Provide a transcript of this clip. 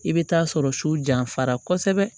I bɛ taa sɔrɔ su janfara kosɛbɛ